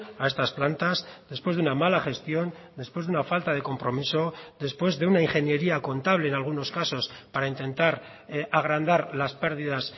a estas plantas después de una mala gestión después de una falta de compromiso después de una ingeniería contable en algunos casos para intentar agrandar las pérdidas